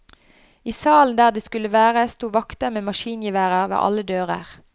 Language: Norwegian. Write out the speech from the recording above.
I salen der de skulle være sto vakter med maskingeværer ved alle dører.